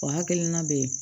O hakilina bɛ ye